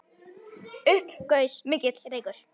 Upp gaus mikill reykur.